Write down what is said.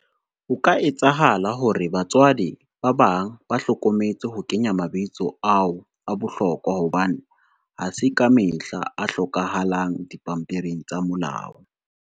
Ho ka etsahala hore batswadi, ba bang ba hlokometse ho kenya mabitso ao a bohlokwa hobane, ha se kamehla a hlokahalang dipampiring tsa molao.